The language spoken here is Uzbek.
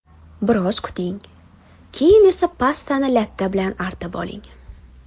Biroz kuting, keyin esa pastani latta bilan artib oling.